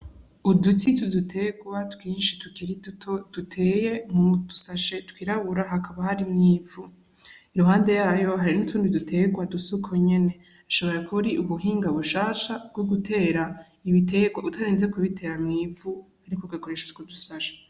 Uduti twudu tegwa twinshi tukiri duto duteye mudu sashe twirabura hakaba harimwo ivu iruhande yaho hari n' utundi du tegwa dusa uko nyene ashobora kuba ari ubuhinga bushasha bwo gutera ibitegwa utarinze gutera mw'ivu ariko ugakoresha utwo du sashe.